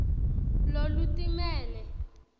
lolutimele